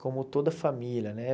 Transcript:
Como toda família, né?